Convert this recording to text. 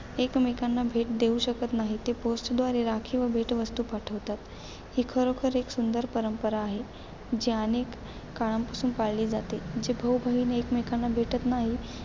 एकमेकांना भेट देऊ शकत नाहीत ते post द्वारे राखी व भेटवस्तू पाठवतात. ही खरोखर एक सुंदर परंपरा आहे. जी अनेक काळापासून पाळली जाते. जे भाऊ-बहीण एकमेकांना भेटत नाहीत,